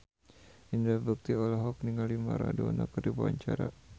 Indra Bekti olohok ningali Maradona keur diwawancara